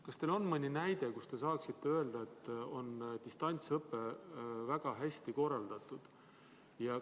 Kas teil on mõni näide, mille puhul te saaksite öelda, et distantsõpe on väga hästi korraldatud?